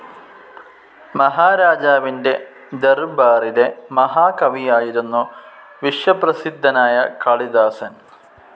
മഹാരാജാവിന്റെ ദർബാറിലെ മഹാകവിയായിരുന്നു വിശ്വപ്രസിദ്ധനായ കാളിദാസൻ.